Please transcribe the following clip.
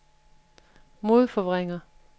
modforvrænger